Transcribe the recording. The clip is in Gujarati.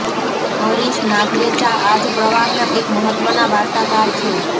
હરીશ નાગ્રેચા આ જ પ્રવાહના એક મહત્ત્વના વાર્તાકાર છે